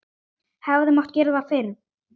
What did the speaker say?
Hefði mátt gera það fyrr?